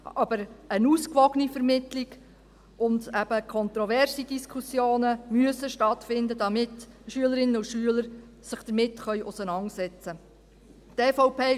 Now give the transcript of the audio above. Aber eine ausgewogene Vermittlung und eben kontroverse Diskussionen müssen stattfinden, damit Schülerinnen und Schüler sich damit auseinandersetzen können.